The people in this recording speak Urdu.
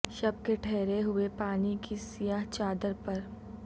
شب کے ٹھہرے ہوئے پانی کی سیہ چادر پر